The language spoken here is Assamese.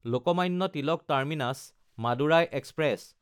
লোকমান্য তিলক টাৰ্মিনাছ–মাদুৰাই এক্সপ্ৰেছ